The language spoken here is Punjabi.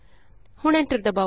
ਹੁਣ ਐਂਟਰ ਦਬਾਉ